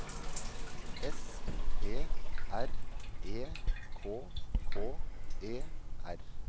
S P R E K K E R